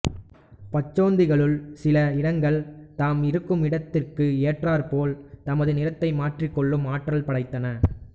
பச்சோந்திகளுள் சில இனங்கள் தாம் இருக்கும் இடத்திற்கு ஏற்றாற்போல் தமது நிறத்தை மாற்றிக்கொள்ளும் ஆற்றல் படைத்தன